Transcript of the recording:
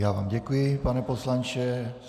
Já vám děkuji, pane poslanče.